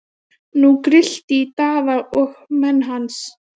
Nú grillti í Daða og menn hans.